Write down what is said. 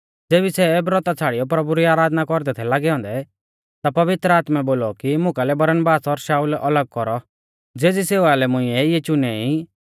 ज़ेबी सै ब्रौता छ़ाड़ियौ प्रभु री आराधना कौरदै थै लागै औन्दै ता पवित्र आत्मै बोलौ कि मुकालै बरनबास और शाऊल अलग कौरौ ज़ेज़ी सेवा लै मुंइऐ इऐ चुने ई